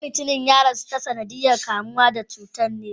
Ko mutumin ya rasu ta sanadiyan kamuwa da cutar ne?